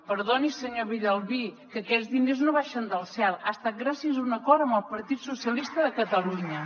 perdoni senyor villalbí que aquests diners no baixen del cel ha estat gràcies a un acord amb el partit socialista de catalunya